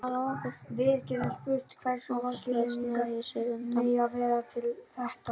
Áslaug sneri sér undan.